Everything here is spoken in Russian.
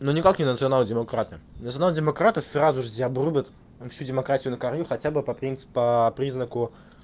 но никак не национал-демократы национал-демократы сразу же тебе обрубят всю демократию на корню хотя бы по принципу по признаку